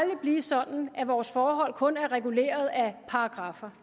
blive sådan at vores forhold kun er reguleret af paragraffer